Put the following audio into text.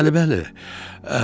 Bəli, bəli.